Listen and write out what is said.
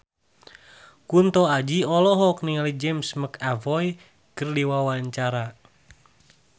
Kunto Aji olohok ningali James McAvoy keur diwawancara